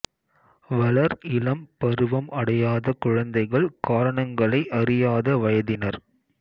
வளா் இளம் பருவம் அடையாத குழந்தைகள் காரணங்களை அறியாத வயதினா்